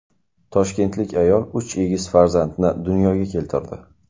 Toshkentlik ayol uch egiz farzandni dunyoga keltirdi.